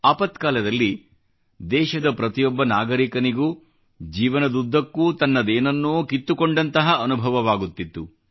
ಆಪತ್ಕಾಲದಲ್ಲಿ ದೇಶದ ಪ್ರತಿಯೊಬ್ಬ ನಾಗರಿಕನಿಗೂ ಜೀವನದುದ್ದಕ್ಕೂ ತನ್ನದೇನನ್ನೋ ಕಿತ್ತುಕೊಂಡಂತಹ ಅನುಭವವಾಗುತ್ತಿತ್ತು